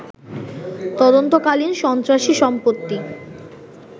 তদন্তকালীন সন্ত্রাসী সম্পত্তি